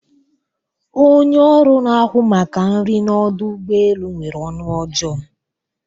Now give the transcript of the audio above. Onye oru na ahu maka nri na Ọdụ ụgbọ elu nwere onu ojoo